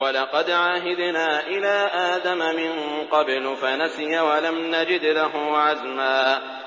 وَلَقَدْ عَهِدْنَا إِلَىٰ آدَمَ مِن قَبْلُ فَنَسِيَ وَلَمْ نَجِدْ لَهُ عَزْمًا